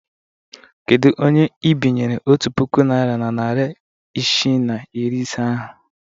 Kedu onye ị bịnyere otu puku naịra na narị isii na iri ise ahụ?